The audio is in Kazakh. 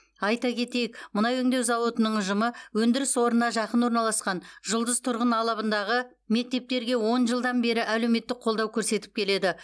айта кетейік мұнай өңдеу зауытының ұжымы өндіріс орнына жақын орналасқан жұлдыз тұрғын алабындағы мектептерге он жылдан бері әлеуметтік қолдау көрсетіп келеді